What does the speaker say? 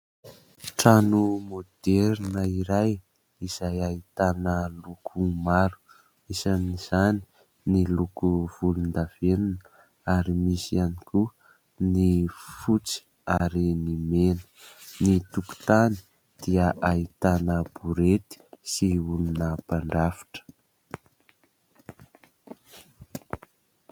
Trano môderina iray izay hahitana loko maro. Isan' izany ny loko volondavenona ary misy ihany koa ny fotsy ary ny mena. Ny tokontany dia ahitana borety sy olona mpandrafitra.